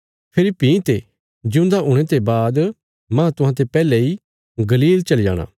पर फेरी भीं ते जिऊंदा हुणे ते बाद माह तुहांते पैहले इ गलील चली जाणा